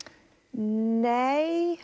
nei